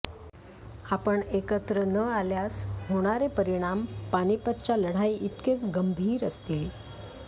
आपण एकत्र न आल्यास होणारे परिणाम पानिपतच्या लढाईइतकेच गंभीर असतील